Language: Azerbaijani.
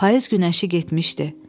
Payız günəşi getmişdi.